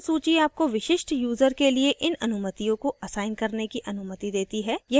dropdown सूची आपको विशिष्ट यूजर के लिए इन अनुमतियों को असाइन करने की अनुमति देती है